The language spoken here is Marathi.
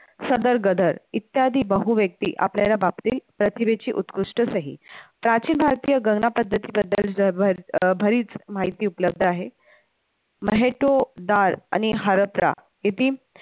शदर गदर इत्यादी बहुव्यक्ती आपल्याला प्रतिभेची उत्कृष्ट सही प्राचीन भारतीय गणना पद्धती बद्दल जर अह बरीच माहिती उपलब्ध आहे, महेतो, डाळ आणि हरत्त्रा येथील